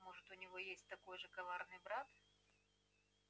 может у него есть такой же коварный брат